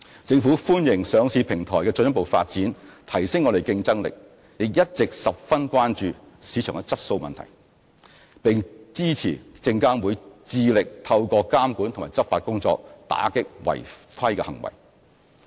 政府歡迎上市平台的進一步發展，提升我們的競爭力，也一直十分關注市場質素問題，並支持證監會致力透過監管及執法工作，打擊違規行為。